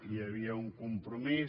hi havia un compromís